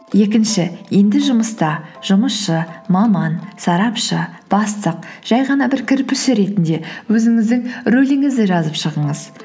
екінші енді жұмыста жұмысшы маман сарапшы бастық жай ғана бір кірпіші ретінде өзіңіздің рөліңізді жазып шығыңыз